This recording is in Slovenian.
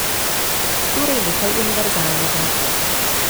Torej nekaj univerzalnega.